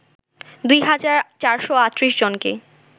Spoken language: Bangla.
দুই হাজার ৪৩৮জনকে